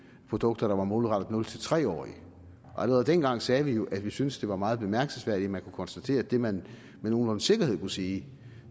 produkter der var målrettet nul tre årige allerede dengang sagde vi jo at vi syntes det var meget bemærkelsesværdigt at man kunne konstatere at det man med nogenlunde sikkerhed kunne sige